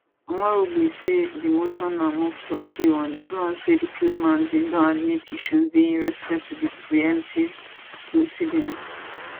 omorogbe say di motion na move to appeal on di ground say di claimants bin don admit issues dey in respect to di preemptive proceedings